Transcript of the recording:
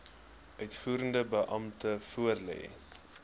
uitvoerende beampte voorlê